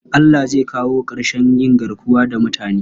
Allah zai kawo ƙarshen yin garkuwa da mutane.